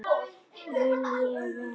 Vill ekki vera.